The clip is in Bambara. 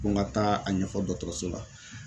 Ko n ka taa a ɲɛfɔ dɔrɔtɔrɔso la